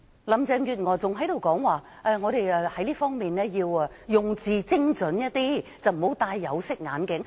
林鄭月娥還說我們在這方面要用字精準，不要戴有色眼鏡。